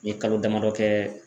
N ye kalo damadɔ kɛ